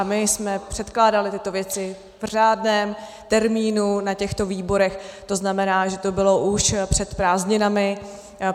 A my jsme předkládali tyto věci v řádném termínu na těchto výborech, to znamená, že to bylo už před prázdninami.